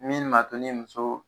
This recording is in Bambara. Min ni m'a to ni muso